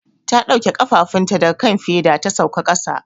Ta dauke kafafunta daga kan feda ta sauka kasa.